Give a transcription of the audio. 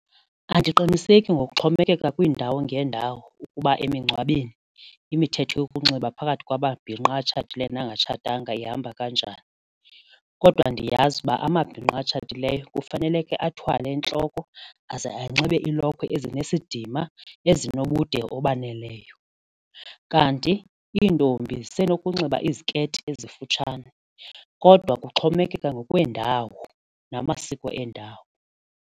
Andiqiniseki ngokuxhomekeka kwiindawo ngeendawo kuba emingcwabeni imithetho yokunxiba phakathi kwamabhinqa atshatileyo nangatshatanga ihamba kanjani kodwa ndiyazi uba amabhinqa atshatileyo kufaneleke athwale entloko aze anxibe iilokhwe ezinesidima ezinobude obaneleyo kanti iintombi zisenokunxiba iziketi ezifutshane kodwa kuxhomekeka ngokweendawo namasiko eendawo.